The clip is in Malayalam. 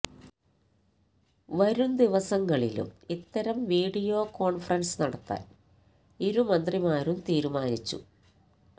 വരും ദിവസങ്ങളിലും ഇത്തരം വിഡിയോ കോൺഫറൻസ് നടത്താൻ ഇരു മന്ത്രിമാരും തീരുമാനിച്ചു